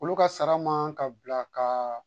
Olu ka sara man ka bila kaa